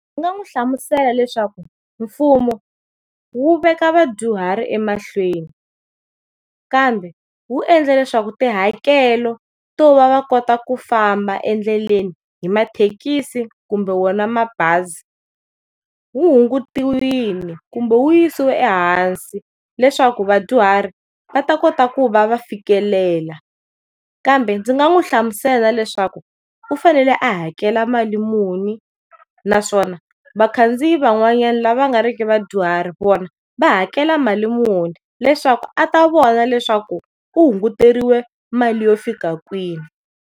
Ndzi nga n'wi hlamusela leswaku mfumo wu veka vadyuhari emahlweni, kambe wu endle leswaku tihakelo to va va kota ku famba endleni hi mathekisi kumbe wona mabazi wu hungutiwile kumbe wu yisiwe ehansi leswaku vadyuhari va ta kota ku va va fikelela. Kambe ndzi nga n'wi hlamusela leswaku u fanele a hakela mali muni naswona vakhandziyi van'wananyana lava na nga ri ki vadyuhari vona va hakela mali muni leswaku a ta vona leswaku u hunguteriwe mali yo fika kwihi.